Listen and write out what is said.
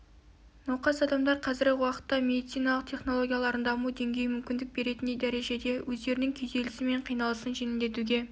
науқас адамдар қазіргі уақыттағы медициналық технологиялардың даму деңгейі мүмкіндік беретіндей дәрежеде өздерінің күйзелісі мен қиналысын жеңілдетуге